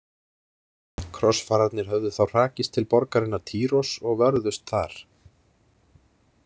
Krossfararnir höfðu þá hrakist til borgarinnar Týros og vörðust þar.